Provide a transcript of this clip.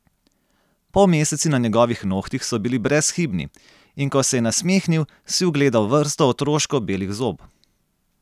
Polmeseci na njegovih nohtih so bili brezhibni, in ko se je nasmehnil, si ugledal vrsto otroško belih zob.